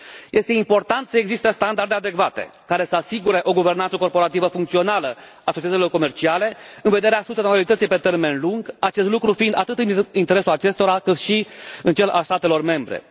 Este important să existe standarde adecvate, care să asigure o guvernanță corporativă funcțională a societăților comerciale, în vederea sustenabilității pe termen lung, acest lucru fiind atât în interesul acestora, cât și în cel al statelor membre.